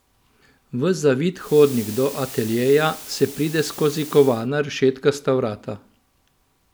V zavit hodnik do ateljeja se pride skozi kovana rešetkasta vrata.